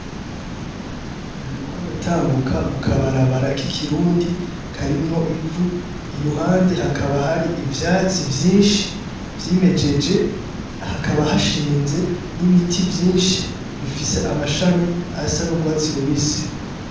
Nariko ndatambuka mu kabarabara k'ikirundi karimwo ivu, iruhande hakaba hari ivyatsi vyinshi vyimejeje, hakaba hashinze n'ibiti vyinshi bifise amashami asa n'urwatsi rubisi.